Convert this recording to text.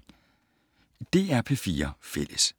DR P4 Fælles